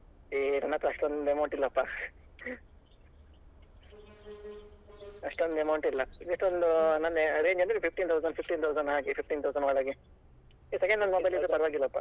ಏ ನನ್ನತ್ರ ಅಷ್ಟೊಂದು amount ಇಲ್ಲಪ್ಪಾ ಅಷ್ಟೊಂದು amount ಇಲ್ಲ ಎಷ್ಟೊಂದು ನನ್ನ range ಅಂದ್ರೆ fifteen thousand fifteen thousand ಹಾಗೆ fifteen thousand ಒಳಗೆ ಏ second hand mobile ಇದ್ರೂ ಪರ್ವಾಗಿಲ್ಲಾಪ. .